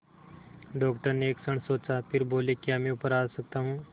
doctor ने एक क्षण सोचा फिर बोले क्या मैं ऊपर आ सकता हूँ